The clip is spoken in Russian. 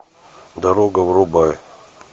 дорога врубай